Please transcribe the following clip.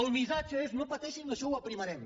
el missatge és no pateixin això ho aprimarem